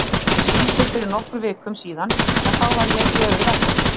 Ég fékk símtöl fyrir nokkrum vikum síðan en þá var ég í öðru verkefni.